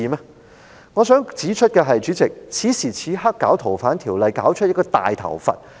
主席，我想指出，在此時此刻推行《條例》修訂而弄出一個大問題。